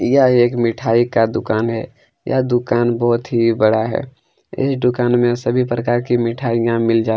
यह एक मिठाई का दुकान है यह दुकान बहुत ही बड़ा है इस दुकान में सभी प्रकार की मिठाईया मिल जाती है।